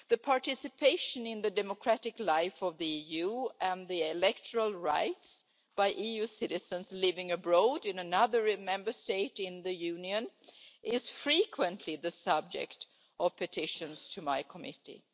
Participation in the democratic life of the EU and the electoral rights of EU citizens living abroad in another Member State in the Union is frequently the subject of petitions to my committee.